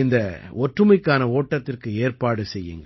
இந்த ஒற்றுமைக்கான ஓட்டத்திற்கு ஏற்பாடு செய்யுங்கள்